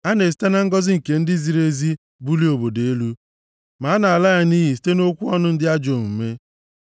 A na-esite na ngọzị nke ndị ziri ezi bulie obodo elu, ma a nʼala ya nʼiyi site nʼokwu ọnụ ndị ajọ omume.